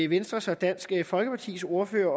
venstres og dansk folkepartis ordførere